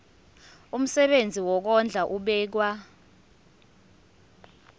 umsebenzi wokondla ubekwa